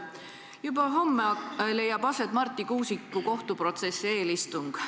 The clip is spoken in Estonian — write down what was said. Juba homme leiab aset Marti Kuusiku kohtuprotsessi eelistung.